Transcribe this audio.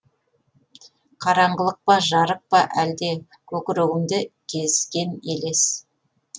қараңғылық па жарық па әлде көкірегімді кезген елес